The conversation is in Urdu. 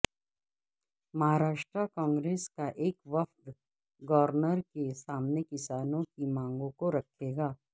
مہارشٹرا کانگریس کا ایک وفد گورنر کے سامنے کسانوں کی مانگوں کو رکھے گا